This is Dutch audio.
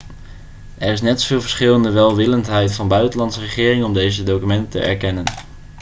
er is net zoveel verschil in de welwillendheid van buitenlandse regeringen om deze documenten te erkennen